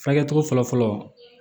Furakɛli cogo fɔlɔfɔlɔ